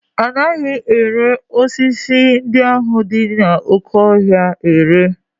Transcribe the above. Anaghị ere sisi ndị ahụ dị n'oké ọhịa anaghị ere